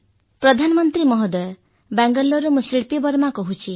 ପ୍ରଧାନମନ୍ତ୍ରୀ ମହୋଦୟ ବାଙ୍ଗାଲୋରରୁ ମୁଁ ଶିଳ୍ପୀ ବର୍ମା କହୁଛି